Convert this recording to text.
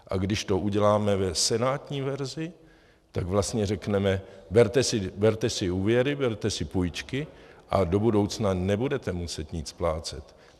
A když to uděláme v senátní verzi, tak vlastně řekneme: berte si úvěry, berte si půjčky a do budoucna nebudete muset nic splácet.